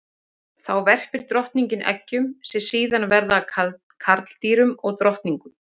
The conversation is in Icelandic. Þá verpir drottningin eggjum sem síðar verða að karldýrum og drottningum.